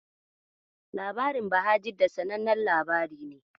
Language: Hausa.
Labarin Bahajidda sanannen labari ne.